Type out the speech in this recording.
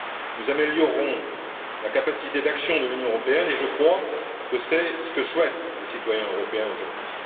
Nous améliorerons la capacité d'action de l'Union européenne, et je crois que c'est ce que souhaitent les citoyens européens aujourd'hui.